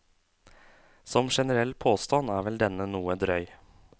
Som generell påstand er vel denne noe drøy.